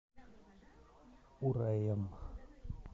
ураем